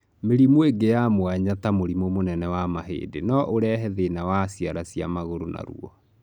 Mĩrĩmũ ĩngĩ ya mwanya ta mũrimũ mũnene wa mahĩndĩ no ũrehe thĩna wa ciara cia magũrũ na ruo.